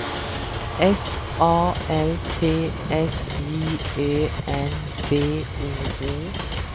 S A L T S J Ö N B O O